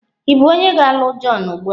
Ị bụ onye ga-alụ John ugbu a?